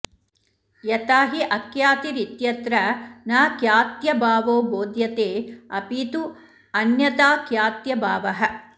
यथा हि अख्यातिरित्यत्र न ख्यात्यभावो बोध्यते अपि तु अन्यथाख्यात्यभावः